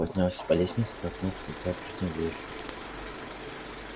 поднялся по лестнице толкнул незапертую дверь